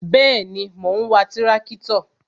Bẹẹni, mo ń wa tirakitọ